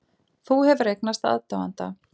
Þú hefur eignast aðdáanda.